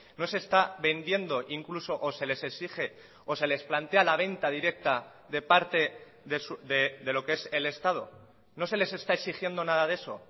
no se está vendiendo incluso o se les exige o se les plantea la venta directa de parte de lo que es el estado no se les está exigiendo nada de eso